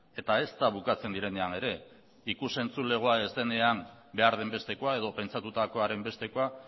eta ezta bukatzen direnean ere ikus entzulegoa ez denean behar den bestekoa edo pentsatutakoaren bestekoa